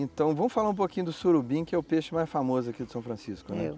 Então vamos falar um pouquinho do surubim, que é o peixe mais famoso aqui do São Francisco, né?